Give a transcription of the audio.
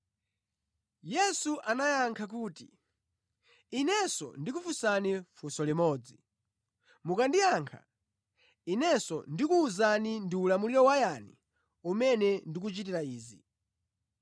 Yesu anayankha kuti, “Inenso ndikufunsani funso limodzi, mukandiyankha, Inenso ndikukuwuzani ndi ulamuliro wa yani umene ndikuchitira izi.